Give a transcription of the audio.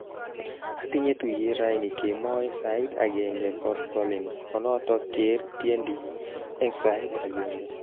Atiny tuyet raini kemoi sait agenge koskolin kunoto ker tiendi eng sait agenge